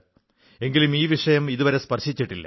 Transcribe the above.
എങ്കിലും ഈ വിഷയം ഇതുവരെ സ്പർശിച്ചിട്ടില്ല